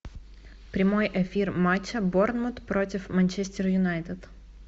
прямой эфир матча борнмут против манчестер юнайтед